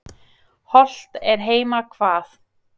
Hollt er heima hvað.